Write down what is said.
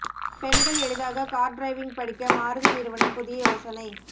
பெண்கள் எளிதாக car driving படிக்க மாருதி நிறுவனம் புதிய யோசனை